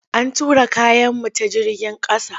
An tura kayanmu ta jigin ƙasa.